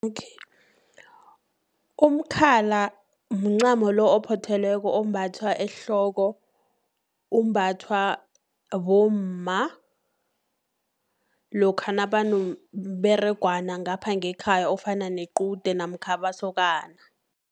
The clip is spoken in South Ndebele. Umkhala mncamo lo ophothelweko, ombathwa ehloko, umbathwa bomma, lokha nabanomberegwana ngapha ngekhaya, ofana nequde namkha amasokana.